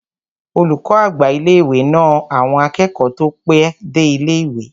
Olùkọ́ àgbà ilé-ìwé náà na àwọn akẹ́kọ̀ọ́ tó pẹ́ dé ilé-ìwé